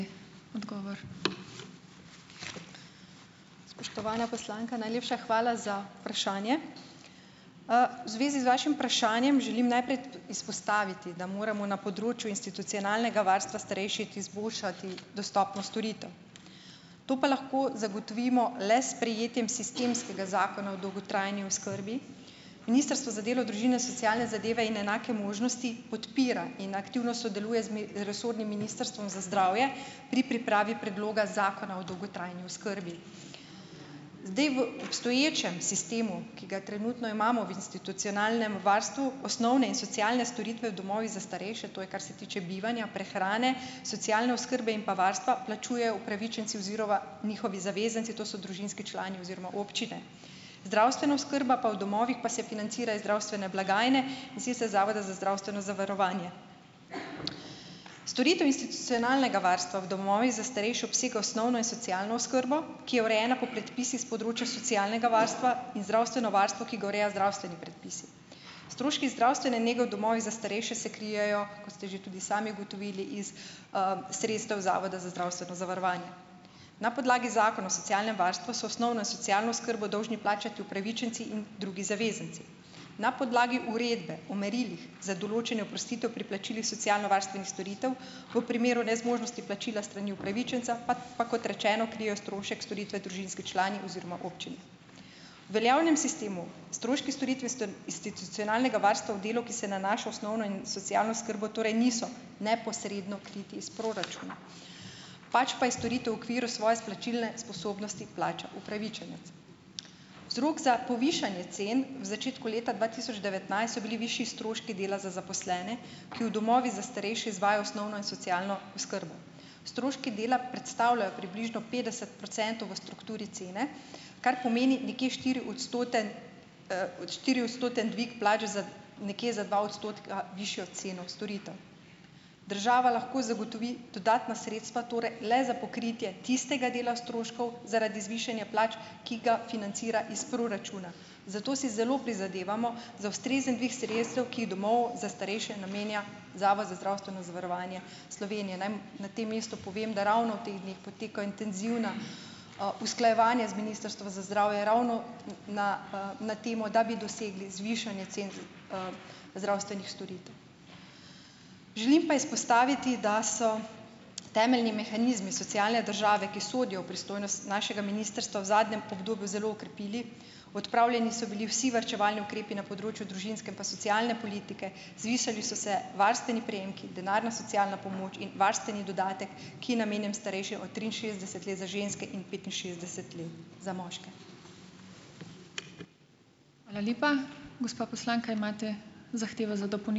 Spoštovana poslanka, najlepša hvala za vprašanje. V zvezi z vašim vprašanjem želim najprej izpostaviti, da moramo na področju institucionalnega varstva starejših izboljšati dostopnost storitev, to pa lahko zagotovimo le s sprejetjem sistemskega zakona o dolgotrajni oskrbi. Ministrstvo za delo, družino, socialne zadeve in enake možnosti podpira in aktivno sodeluje z resornim Ministrstvom za zdravje pri pripravi predloga Zakona o dolgotrajni oskrbi. Zdaj, v obstoječem sistemu, ki ga trenutno imamo v institucionalnem varstvu, osnovne in socialne storitve v domovih za starejše, to je kar se tiče bivanja, prehrane, socialne oskrbe in pa varstva, plačujejo upravičenci oziroma njihovi zavezanci, to so družinski člani oziroma občine. Zdravstvena oskrba pa v domovih pa se financira iz zdravstvene blagajne, in sicer Zavoda za zdravstveno zavarovanje. Storitev institucionalnega varstva v domovih za starejše obsega osnovno in socialno oskrbo, ki je urejena po predpisih s področja socialnega varstva in zdravstveno varstvo, ki ga urejajo zdravstveni predpisi, stroški zdravstvene nekje v domovih za starejše se krijejo, kot ste že tudi sami ugotovili, iz, sredstev Zavoda za zdravstveno zavarovanje. Na podlagi Zakona o socialnem varstvu so osnovno in socialno oskrbo dolžni plačati upravičenci in drugi zavezanci. Na podlagi Uredbe o merilih za določanje oprostitev pri plačilih socialnovarstvenih storitev v primeru nezmožnosti plačila s strani upravičenca pa pa kot rečeno krijejo strošek storitve družinski člani oziroma občine. V veljavnem sistemu stroški storitve institucionalnega varstva v delu, ki se nanaša osnovno in socialno oskrbo, torej niso neposredno kriti iz proračuna. Pač pa iz storitev v okviru svoje plačilne sposobnosti plača upravičenec. Vzrok za povišanje cen v začetku leta dva tisoč devetnajst so bili višji stroški dela za zaposlene, ki v domovih za starejše izvajajo osnovno in socialno oskrbo. Stroški dela predstavljajo približno petdeset procentov v strukturi cene, kar pomeni nekje štiriodstoten, štiriodstotni dvig plač, za nekje za dva odstotka višjo ceno storitev. Država lahko zagotovi dodatna sredstva torej le za pokritje tistega dela stroškov zaradi zvišanja plač, ki ga financira iz proračuna. Zato si zelo prizadevamo za ustrezen dvig sredstev, ki jih domovom za starejše namenja Zavod za zdravstveno zavarovanje Slovenije. Naj na tem mestu povem, da ravno v teh dneh potekajo intenzivna, usklajevanja z Ministrstvom za zdravje, ravno, na, na temo, da bi dosegli zvišanje cen zdravstvenih storitev. Želim pa izpostaviti, da so temeljni mehanizmi socialne države, ki sodijo v pristojnost našega ministrstva, v zadnjem obdobju zelo okrepili. Odpravljeni so bili vsi varčevalni ukrepi na področju družinske in pa socialne politike, zvišali so se varstveni prejemki, denarna socialna pomoč in varstveni dodatek, ki je namenjen starejšim od triinšestdeset let za ženske in petinšestdeset let za moške.